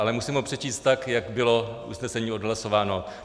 Ale musím ho přečíst tak, jak bylo usnesení odhlasováno.